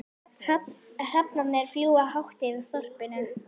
Hrafnarnir fljúga hátt yfir þorpinu.